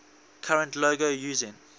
current logo using